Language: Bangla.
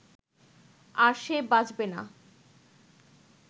আর সে বাঁচবে না